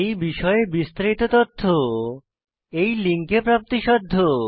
এই বিষয়ে বিস্তারিত তথ্য এই লিঙ্কে প্রাপ্তিসাধ্য